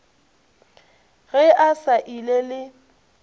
ge a sa ile le